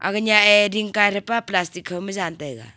age nya a ding kai pe plastic kho ma jan taiga.